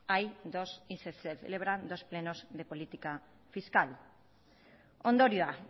hay dos y se celebran dos plenos de política fiscal ondorioa